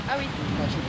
Yaxşı, yaxşı.